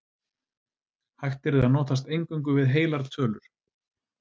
Hægt yrði að notast eingöngu við heilar tölur.